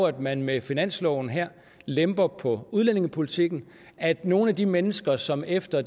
at man med finansloven her lemper på udlændingepolitikken at nogle af de mennesker som efter